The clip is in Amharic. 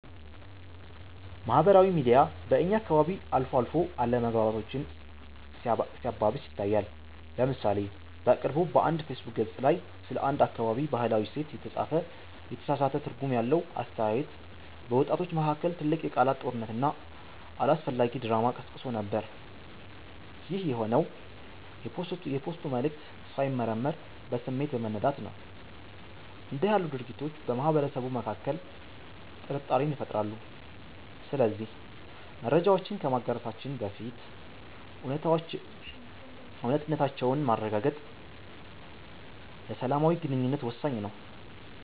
ማህበራዊ ሚዲያ በእኛ አካባቢ አልፎ አልፎ አለመግባባቶችን ሲያባብስ ይታያል። ለምሳሌ በቅርቡ በአንድ የፌስቡክ ገፅ ላይ ስለ አንድ አካባቢ "ባህላዊ እሴት" የተጻፈ የተሳሳተ ትርጉም ያለው አስተያየት፣ በወጣቶች መካከል ትልቅ የቃላት ጦርነትና አላስፈላጊ ድራማ ቀስቅሶ ነበር። ይህ የሆነው የፖስቱ መልዕክት ሳይመረመር በስሜት በመነዳት ነው። እንዲህ ያሉ ድርጊቶች በማህበረሰቡ መካከል ጥርጣሬን ይፈጥራሉ። ስለዚህ መረጃዎችን ከማጋራታችን በፊት እውነታነታቸውን ማረጋገጥ ለሰላማዊ ግንኙነት ወሳኝ ነው።